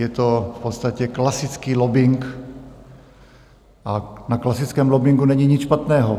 Je to v podstatě klasický lobbing a na klasickém lobbingu není nic špatného.